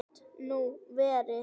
Gat nú verið